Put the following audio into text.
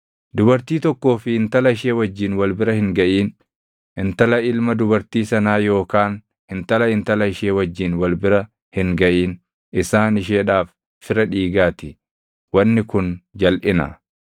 “ ‘Dubartii tokkoo fi intala ishee wajjin wal bira hin gaʼin. Intala ilma dubartii sanaa yookaan intala intala ishee wajjin wal bira hin gaʼin; isaan isheedhaaf fira dhiigaa ti; wanni kun jalʼina.